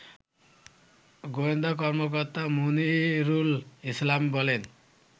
গোয়েন্দা কর্মকর্তা মনিরুল ইসলাম বলেন